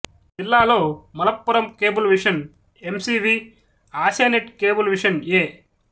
జిల్లాలో Malappuram cable vision M C V Asianet cable vision ఎ